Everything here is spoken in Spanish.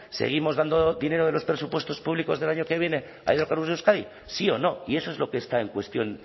seguimos dando dinero de los presupuestos públicos del año que viene a hidrocarburos de euskadi sí o no y eso es lo que está en cuestión